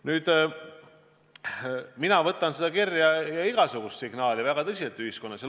Nüüd, mina suhtun sellesse kirja ja igasugusesse muusse ühiskonnast tulevasse signaali väga tõsiselt.